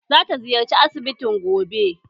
Za ta ziyarci asibitin gobe